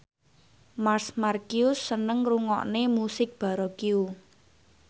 Marc Marquez seneng ngrungokne musik baroque